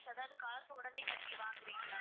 அதாவது காசு உடனே கட்டி வாங்கறீங்களா?